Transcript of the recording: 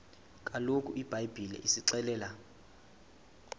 kaloku ibhayibhile isixelela